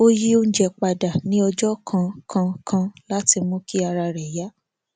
ó yí oúnjẹ padà ní ọjọ kankankan láti mú kí ara rẹ yá